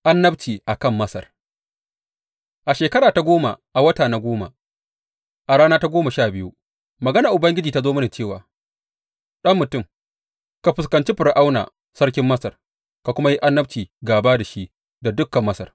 Annabci a kan Masar A shekara ta goma, a wata na goma, a rana ta goma sha biyu, maganar Ubangiji ta zo mini cewa, Ɗan mutum, ka fuskanci Fir’auna sarkin Masar ka kuma yi annabci gāba da shi da dukan Masar.